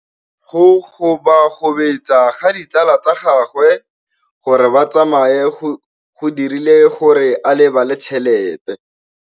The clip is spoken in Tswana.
Go gobagobetsa ga ditsala tsa gagwe, gore ba tsamaye go dirile gore a lebale tšhelete.